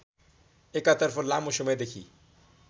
एकातर्फ लामो समय देखि